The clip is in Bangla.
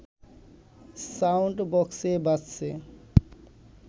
সাউন্ড বক্সে বাজছে